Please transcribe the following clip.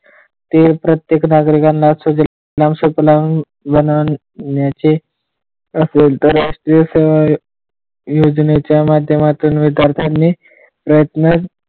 प्रत्येक नागरिकांना सुजलाम सुफलाम बनवण्याचे राष्ट्रीय योजनेच्या माध्यमातून विद्यार्थ्यांनी प्रयत्न,